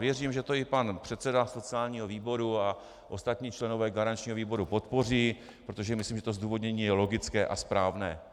Věřím, že to i pan předseda sociálního výboru a ostatní členové garančního výboru podpoří, protože myslím, že to zdůvodnění je logické a správné.